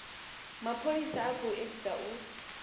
mapholisa u khou edzisa u